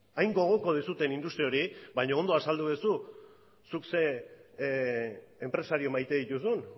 hain gogoko duzuen industria hori baina ondo azaldu duzu zuk zein enpresario maite dituzun